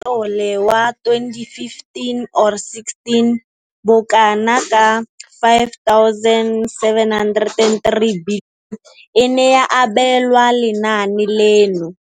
Tlole wa 2015 or 16, bokanaka 5 703 bilione e ne ya abelwa lenaane leno.